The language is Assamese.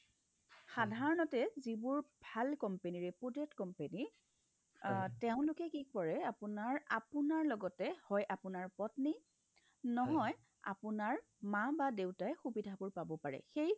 সাধাৰণতে যিবোৰ ভাল company reputed company অহ্ তেওঁলোকে কি কৰে আপোনাৰ লগতে হয় আপোনাৰ পত্নী নহয় আপোনাৰ মা বা দেউতাই সুবিধাবোৰ পাব পাৰে সেই